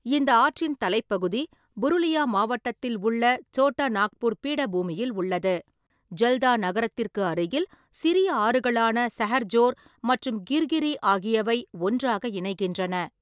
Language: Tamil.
இந்த ஆற்றின் தலைப்பகுதி புருலியா மாவட்டத்தில் உள்ள சோட்டா நாக்பூர் பீடபூமியில் உள்ளது, ஜல்தா நகரத்திற்கு அருகில், சிறிய ஆறுகளான சஹர்ஜோர் மற்றும் கிர்கிரி ஆகியவை ஒன்றாக இணைகின்றன.